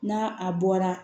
N'a a bɔra